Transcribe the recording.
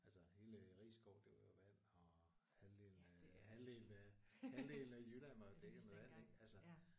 Altså hele Risskov det var jo vand og halvdelen af halvdelen af halvdelen af Jylland var jo dækket med vand ik altså